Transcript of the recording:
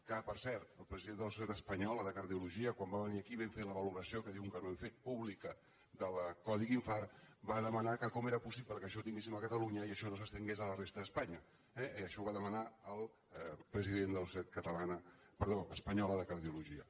que per cert el president de la societat espanyola de cardio·logia quan va venir aquí vam fer la valoració que diuen que no hem fet pública del codi infart va de·manar que com era possible que això ho tinguéssim a catalunya i això no s’estengués a la resta d’espanya eh i això ho va demanar el president de la societat espanyola de cardiologia